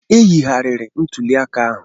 E yigharịrị ntuli aka ahụ.